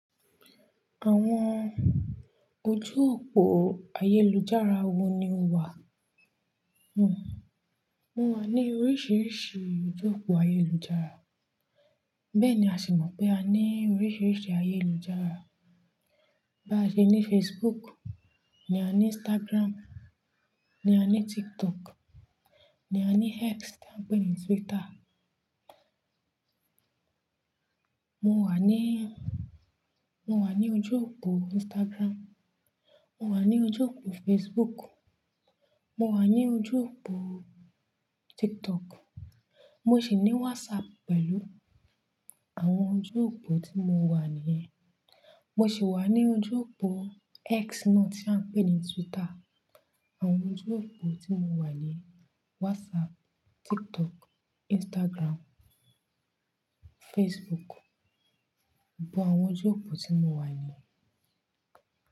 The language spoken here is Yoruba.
Àwọn ojú òpó ayélujára wo ni o wà? Mo wà ní oríṣiríṣi ojú òpó ayélujára. Bẹ́ẹ̀ ni a sì mọ̀ pé a ní oríṣiríṣi ayélujára. Bá ṣe ní Facebook, ní a ní Instagram, ní a ní TikTok, ní a ní X tí a ń pè ní Twitter. Mo wà ní, mo wà ní ojú òpó Instagram. Mo wà ní ojú òpó Facebook. Mo wà ní ojú òpó TikTok. Mo sì ní WhatsApp pẹ̀lú àwọn ojú òpó tí mo wà nìyẹn. Mo sì wà ní ojú òpó X náà tí a ń pè ní Twitter. Àwọn ojú òpó tí mo wà ni WhatsApp, TikTok, Instagram, Facebook. But àwọn ojú òpó tí mo wà ni.